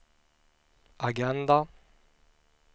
agenda